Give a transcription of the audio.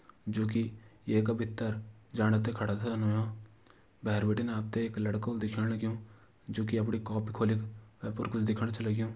जुकि येका भीतर जाणा ते खडा छन व्हयां भैर बिटिन आपते एक लडका व्हलु दिख्यौण लग्यूं जु कि आपूरी कॉपी खोलिग वेपर कुछ दिखण च लग्यूं।